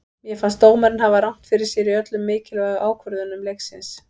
Mér fannst dómarinn hafa rangt fyrir sér í öllum mikilvægu ákvörðunum leiksins.